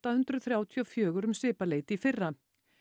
hundruð þrjátíu og fjögur um svipað leyti í fyrra